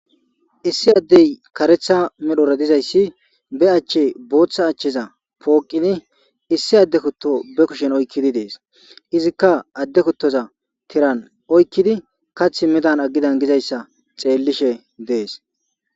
issi addey karetha medhore dizayssi be achche booththa achcheza pooqidi issi adde kutto be kushen oykkidi dees izikka adde kuttoza tiran oykkidi kath medan aggidan gizayssa xeellishe dees